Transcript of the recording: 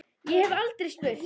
Ég hef aldrei spurt.